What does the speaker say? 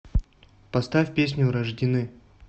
поставь песню рождены